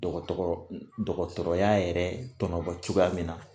Dɔgɔtɔrɔ dɔgɔtɔrɔya yɛrɛ tɔnɔbɔ cogoya min na